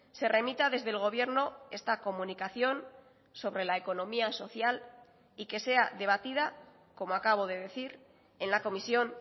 se remita desde el gobierno esta comunicación sobre la economía social y que sea debatida como acabo de decir en la comisión